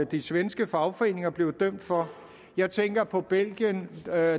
de svenske fagforeninger blev dømt for jeg tænker på belgien der